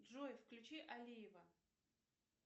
джой включи алиева